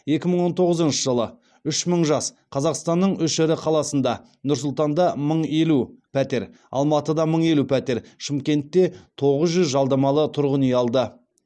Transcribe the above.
екі мың он тоғызыншы жылы үш мың жас қазақстанның үш ірі қаласында нұр сұлтанда мың елу пәтер алматыда мың елу пәтер шымкентте тоғыз жүз жалдамалы тұрғын үй алды